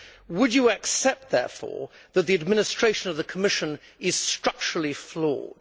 Would you accept therefore, Mr Gargani, that the administration of the Commission is structurally flawed?